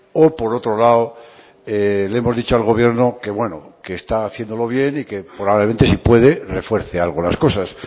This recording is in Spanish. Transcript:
o por otro lado le hemos dicho al gobierno que bueno que está haciéndolo bien y que probablemente si puede refuerce algo las cosas